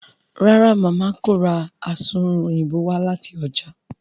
ràrá Mama kò rá Asunrun Òyìnbó wá láti ọjà.